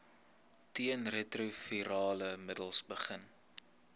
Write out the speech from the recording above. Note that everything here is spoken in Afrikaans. teenretrovirale middels begin